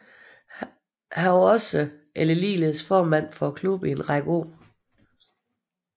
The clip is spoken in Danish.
Han var ligeledes formand for klubben i en række år